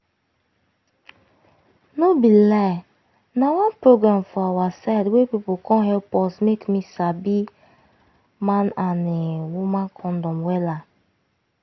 no be lie na one program for awa side wey pipu come help us make me sabi man and[um]woman condom wella